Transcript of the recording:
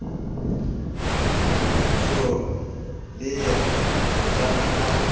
so ye le hojana a